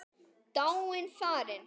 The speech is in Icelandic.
Dáin, farin.